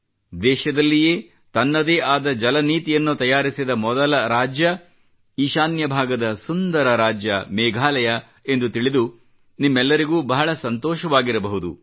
ದೇಶದಲ್ಲಯೇ ತನ್ನದೇ ಆದ ಜಲನೀತಿಯನ್ನು ತಯಾರಿಸಿದ ಮೊದಲ ರಾಜ್ಯ ಈಶಾನ್ಯ ಭಾಗದ ಸುಂದರ ರಾಜ್ಯ ಮೇಘಾಲಯ ಎಂದು ತಿಳಿದು ನಿಮ್ಮೆಲ್ಲರಿಗೂ ಬಹಳ ಸಂತೋಷವಾಗಿರಬಹುದು